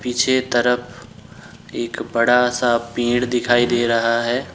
पीछे तरफ एक बड़ा सा पेड़ दिखाई दे रहा है।